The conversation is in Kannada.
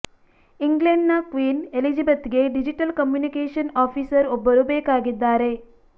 ಇಂಗ್ಲೆಂಡ್ ನ ಕ್ವೀನ್ ಎಲಿಜಬೆತ್ಗೆ ಡಿಜಿಟಲ್ ಕಮ್ಯುನಿಕೇಷನ್ ಆಫೀಸರ್ ಒಬ್ಬರು ಬೇಕಾಗಿದ್ದಾರೆ